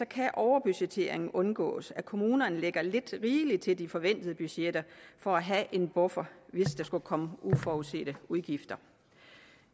kan overbudgettering undgås altså at kommunerne lægger lidt rigeligt til de forventede budgetter for at have en buffer hvis der skulle komme uforudsete udgifter